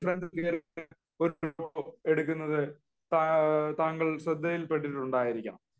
ഒരു ഫോട്ടോ എടുക്കുന്നത് താങ്കളുടെ ശ്രദ്ധയിൽ പെട്ടിട്ടുണ്ടായിരിക്കാം